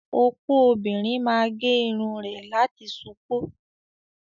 Opo obìnrin máa gé irun rẹ̀ láti ṣupọ́.